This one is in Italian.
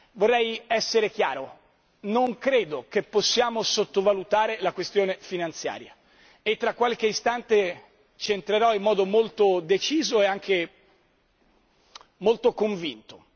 Vorrei essere chiaro non credo che possiamo sottovalutare la questione finanziaria e tra qualche istante ci entrerò in modo molto deciso e anche molto convinto.